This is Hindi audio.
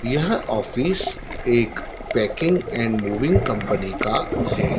यह ऑफिस एक पैकिंग एंड मूविंग कंपनी का है।